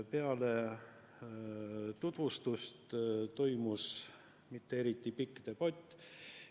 Peale tutvustust toimus mitte eriti pikk debatt.